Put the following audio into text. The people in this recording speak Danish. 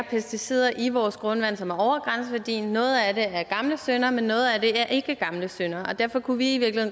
pesticider i vores grundvand som er over grænseværdien noget af det er gamle synder men noget af det er ikke gamle synder og derfor kunne vi i